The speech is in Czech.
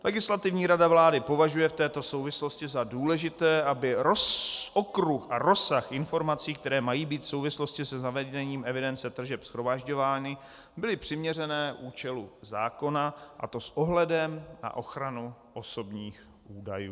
Legislativní rada vlády považuje v této souvislosti za důležité, aby okruh a rozsah informací, které mají být v souvislosti se zavedením evidence tržeb shromažďovány, byly přiměřené účelu zákona, a to s ohledem na ochranu osobních údajů.